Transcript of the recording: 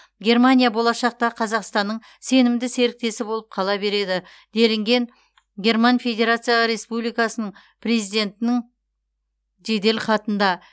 германия болашақта қазақстанның сенімді серіктесі болып қала береді делінген герман федерация республикасының президентінің жеделхатында